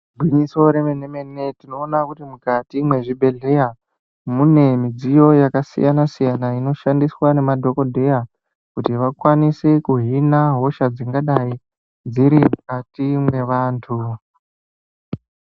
Igwinyiso remene mene tinoona kuti mukati mwezvibhedhlera mune midziyo yakasiyana siyana inoshandiswa nemadhokodheya kuti vakwanise kuhina hosha dzingadai dziri mukati mwevantu.